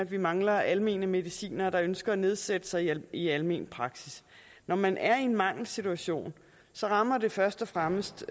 vi mangler almene medicinere der ønsker at nedsætte sig i almen praksis når man er i en mangelsituation rammer det først og fremmest